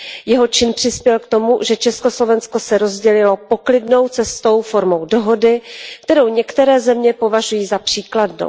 Jeho čin přispěl k tomu, že Československo se rozdělilo poklidnou cestou formou dohody, kterou některé země považují za příkladnou.